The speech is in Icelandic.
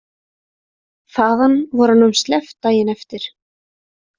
Þaðan var honum sleppt daginn eftir.